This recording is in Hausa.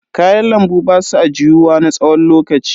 Kayan lambu basu ajiyuwa na tsawon lokaci.